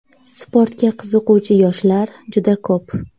Sportga qiziquvchi yoshlar juda ko‘p.